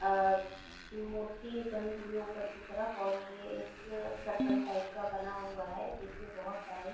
और मूर्ति बनी हुई है उपर की तरफ और ये एक सर्कल टाइप का बना हुआ है जिसमें बहुत सारे --